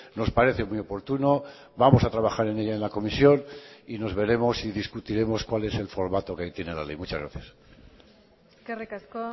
nos parece muy oportuno vamos a trabajar en ella en la comisión y nos veremos y discutiremos cuál es el formato que tiene la ley muchas gracias eskerrik asko